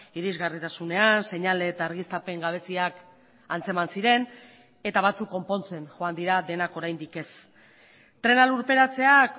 irizgarritasunean seinale eta argiztapen gabeziak antzeman ziren eta batzuk konpontzen joan dira denak oraindik ez trena lurperatzeak